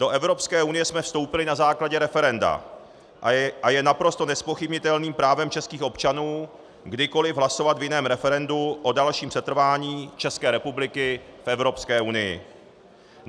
Do Evropské unie jsme vstoupili na základě referenda a je naprosto nezpochybnitelným právem českých občanů kdykoliv hlasovat v jiném referendu o dalším setrvání České republiky v Evropské unii.